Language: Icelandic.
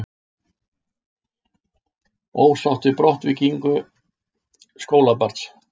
Ósátt við brottvikningu skólabarns